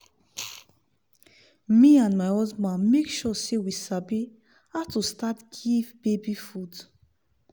me and my husband make sure say we sabi how to start give baby food